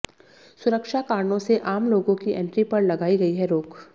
सुरक्षा कारणों से आम लोगों की एंट्री पर लगाई गई है रोक